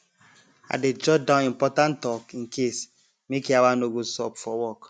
i dey jot down important talk in case make yawa no go sup for work